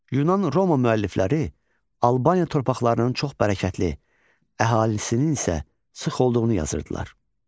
Yunan-Roma müəllifləri Albaniya torpaqlarının çox bərəkətli, əhalisinin isə sıx olduğunu yazırdılar.